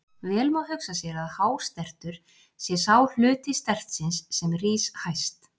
Vel má hugsa sér að hástertur sé sá hluti stertsins sem rís hæst.